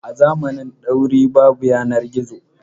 A zamanin dauri babu yanar gizo.